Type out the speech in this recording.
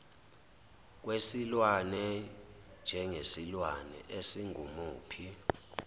kwesilwane njengesilwane esingumuphi